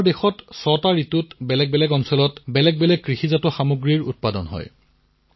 আমাৰ দেশত ছট ভিন্ন ঋতু আছে বিভিন্ন ক্ষেত্ৰৰ জলবায়ু অনুসৰি ভিন্ন ভিন্ন শস্য উৎপাদন হয়